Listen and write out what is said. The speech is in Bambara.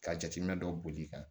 Ka jateminɛ dɔ boli i kan